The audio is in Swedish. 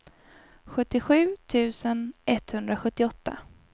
sjuttiosju tusen etthundrasjuttioåtta